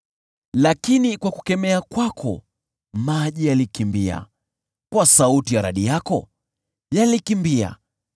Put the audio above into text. Lakini kwa kukemea kwako maji yalikimbia, kwa sauti ya radi yako yakatoroka,